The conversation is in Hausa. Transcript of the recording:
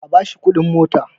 A bashi kudin mota!